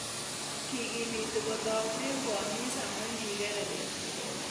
Kikimiti kotaune koamis amu kikere beet